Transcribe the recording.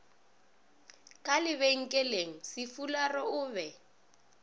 ka lebenkeleng sefularo o be